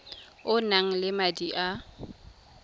o nang le madi a